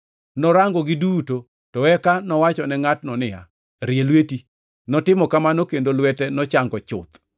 Norangogi duto, to eka nowachone ngʼatno niya, “Rie lweti.” Notimo kamano, kendo lwete nochango chuth.